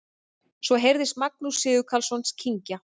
Svo heyrðist Magnús Sigurkarlsson kyngja.